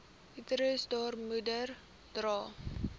uterus baarmoeder dra